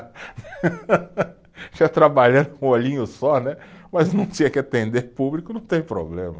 trabalhando com um olhinho só né, mas não tinha que atender público, não tem problema.